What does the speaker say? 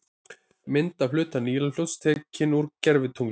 Mynd af hluta Nílarfljóts, tekin úr gervitungli.